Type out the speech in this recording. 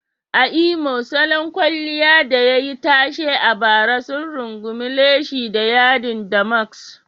A Imo, salon kwalliya da yayi tashe a bara sun rungumi leshi da yadin damsask.